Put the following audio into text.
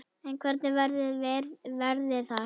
En hvernig verður veðrið þar?